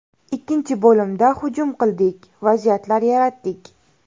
Ikkinchi bo‘limda hujum qildik, vaziyatlar yaratdik.